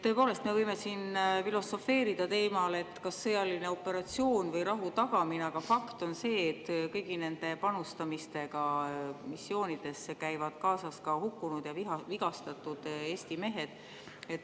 Tõepoolest, me võime siin filosofeerida teemal, kas sõjaline operatsioon või rahu tagamine, aga fakt on see, et kõigi nende panustamistega missioonidesse käivad kaasas ka hukkunud ja vigastatud Eesti mehed.